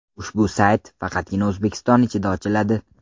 Ushbu sayt faqatgina O‘zbekiston ichida ochiladi.